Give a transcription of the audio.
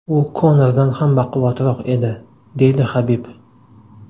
U Konordan ham baquvvatroq edi”, deydi Habib.